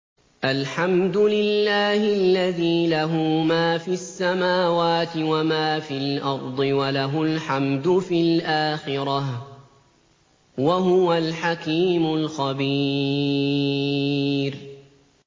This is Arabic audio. الْحَمْدُ لِلَّهِ الَّذِي لَهُ مَا فِي السَّمَاوَاتِ وَمَا فِي الْأَرْضِ وَلَهُ الْحَمْدُ فِي الْآخِرَةِ ۚ وَهُوَ الْحَكِيمُ الْخَبِيرُ